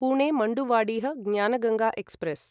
Pune Manduadih Gyanganga express